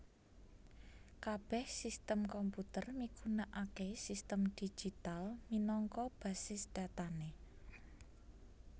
Kabèh sistem komputer migunakaké sistem digital minangka basis datané